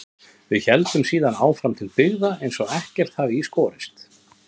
Við héldum síðan áfram til byggða eins og ekkert hefði í skorist.